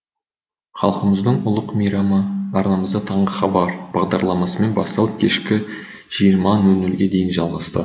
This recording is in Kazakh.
халқымыздың ұлық мейрамы арнамызда таңғы хабар бағдарламасымен басталып кешкі жиырма нөл нөлге дейін жалғасты